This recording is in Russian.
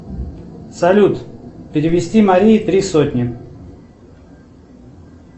салют перевести марии три сотни